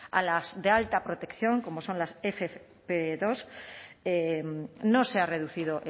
a las de alta protección como son las efe efe pe dos no se ha reducido